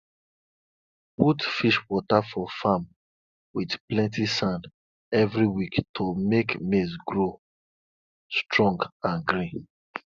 put fish water for farm with plenty sand every week to make maize grow strong and green